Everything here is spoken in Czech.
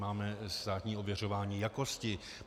Máme státní ověřování jakosti.